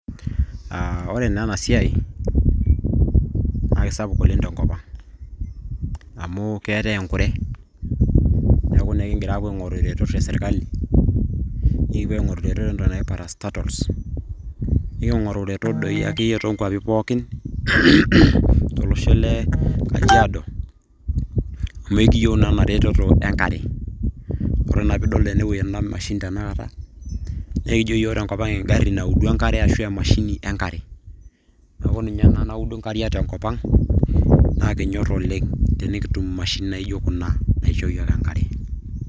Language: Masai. Ah ore naa enasiai, na kisapuk oleng' tenkop ang'. Amu keetae enkure, neeku naa ekigira apuo aing'oru iretot esirkali, nikipuo aing'oru iretot entoki naji parastatals ,niking'oru iretot ake doi akeyie to kwapi pookin, tolosho le kajiado, amu ekiyieu naa enaretoto enkare. Ore naa pidol enewueji ena mashini tanakata, naa ekijo yiok tenkop ang' egarri naudi enkare ashu emashini enkare. Neeku ninye ena naudu nkariak tenkop ang',naa kinyor oleng' tenikitum imashinini naijo kuna naisho yiook enkare.